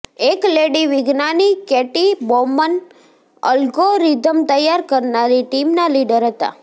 એક લેડી વિજ્ઞાની Katie Bouman algorithm તૈયાર કરનારી ટીમના લીડર હતા